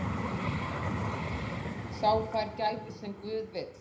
Sá fær gæfu sem guð vill.